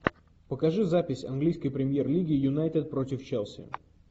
покажи запись английской премьер лиги юнайтед против челси